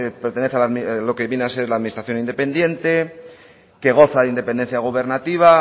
pertenece a lo que viene a ser la administración independiente que goza de independencia gobernativa